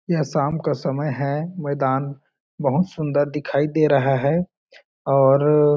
यह शाम का समय है मैदान बहुत सुंदर दिखाई दे रहा है और --